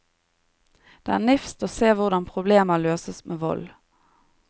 Det er nifst å se hvordan problemer løses med vold.